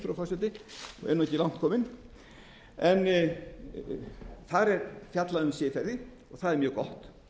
forseti og er ekki langt kominn en þar er fjallað um siðferði og það er mjög gott